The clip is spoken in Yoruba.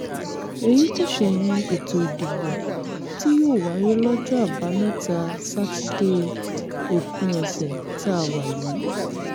èyí kò ṣẹ̀yìn ètò ìdìbò tí yóò wáyé lọ́jọ́ àbámẹ́ta sátidé òpin ọ̀sẹ̀ tá a wà yìí